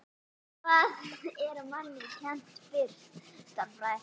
Hvað er manni kennt fyrst?